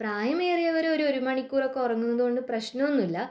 പ്രായമേറിയവർ ഒരുമണിക്കൂർ ഉറങ്ങുന്നത് കൊണ്ട് പ്രശ്നമൊന്നുമില്ല